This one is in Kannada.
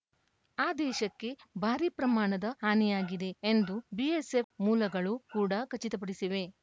ಆ ದೇಶಕ್ಕೆ ಭಾರಿ ಪ್ರಮಾಣದ ಹಾನಿಯಾಗಿದೆ ಎಂದು ಬಿಎಸ್‌ಎಫ್‌ ಮೂಲಗಳು ಕೂಡ ಖಚಿತಪಡಿಸಿವೆ